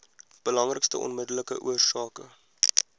belangrikste onmiddellike oorsake